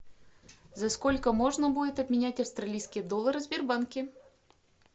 за сколько можно будет обменять австралийский доллар в сбербанке